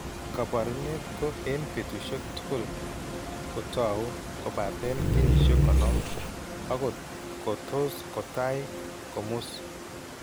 Kaabarunet ko eng' betusiek tugul kotau kobaaten kenyisiek 50, akot ko tos' kotai komus.